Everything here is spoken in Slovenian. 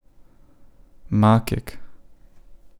Makek.